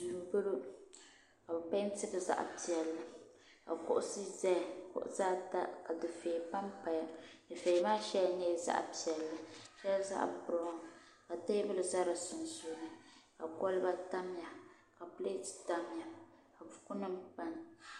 duu n bɔŋɔ ka bi peentili zaɣ piɛlli ka kuɣusi ʒɛya kuɣusi ata ka dufɛya panpaya dufɛya maa shɛli nyɛla zaɣ piɛlli shɛli zaɣ biraawn ka teebuli ʒɛ di sunsuuni ka kɔlba tamya ka pilɛt tamya ka buku nim paya